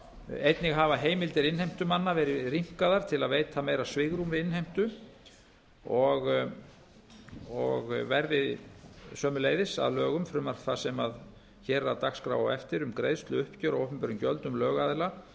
einnig hafa heimildir innheimtumanna verið rýmkaðar til að veita meira svigrúm við innheimtu verði sömuleiðis að lögum frumvarp það sem hér er á dagskrá á eftir um greiðsluuppgjör á opinberum gjöldum lögaðila